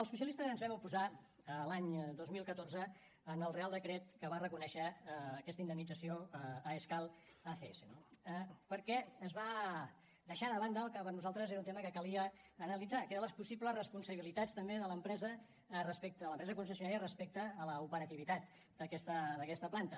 els socialistes ens vam oposar l’any dos mil catorze al reial decret que va reconèixer aquesta indemnització a escal acs perquè es va deixar de banda el que per nosaltres era un tema que calia analitzar que eren les possibles responsabilitats també de l’empresa concessionària respecte a l’operativitat d’aquesta planta